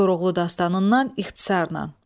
Koroğlu dastanından ixtisarla.